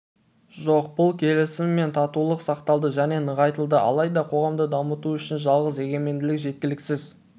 жоқ бұл келісім мен татулық сақталды және нығайтылды алайда қоғамды дамыту үшін жалғыз егеменділік жеткіліксіз